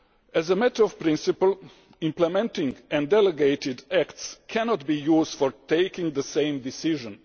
As a matter of principle, implementing and delegated acts cannot be used for taking the same decision.